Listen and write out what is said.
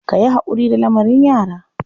Ka yi haƙuri da lamarin yara.